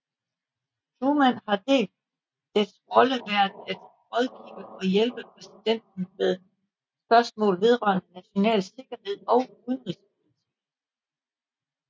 Truman har dets rolle været at rådgive og hjælpe præsidenten med spørgsmål vedrørende national sikkerhed og udenrigspolitik